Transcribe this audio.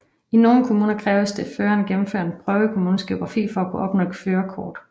I nogle kommuner kræves det at føreren gennemfører en prøve i kommunens geografi for at kunne opnå et førerkort